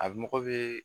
A mɔgɔ bɛ